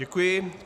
Děkuji.